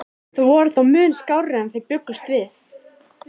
Þær voru þó mun skárri en þeir bjuggust við.